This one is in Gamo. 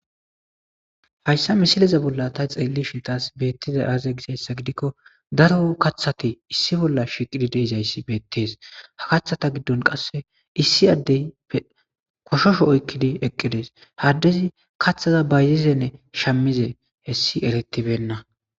Ha issa misileza bolla ta xeelishe diza issa xelishe tasi betizay aze gikko daro kaththati issi bolla shiqqidi diza issi beettes.ha kaththa giddon qassi issi addeppe goshosho oyiqqidi eqqidi des.ha addesi kaththa bayizida issanne shamize issi eretibena